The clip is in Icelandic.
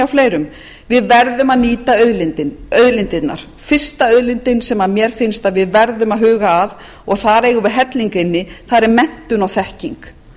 fleirum við verðum að nýta auðlindirnar fyrsta auðlindin sem mér finnst að við verðum að huga að og þar eigum við helling inni það eru menntun og þekking